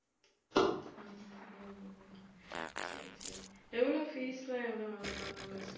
சரி சரி எவ்வளவு fees லாம் எவ்வளவு வாங்குவாங்க அங்க